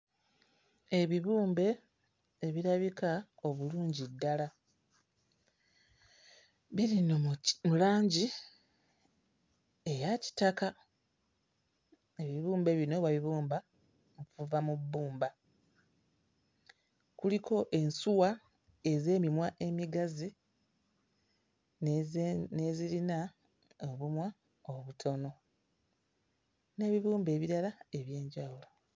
Ebibumbe ebirabika obulungi ddala, biri nno mu ki, mu langi eya kitaka, ebibumbe bino babibumba okuva mu bbumba, kuliko ensuwa ez'emimwa emigazi n'eze n'ezirina obumwa obutono, n'ebibumbe ebirala eby'enjwulo.